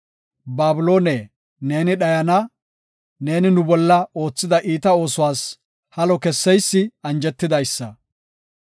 Babiloone, neeni dhayana! Neeni nu bolla oothida iita oosuwas halo kesseysi anjetidaysa.